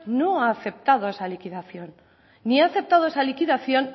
no ha aceptado esa liquidación ni ha aceptado esa liquidación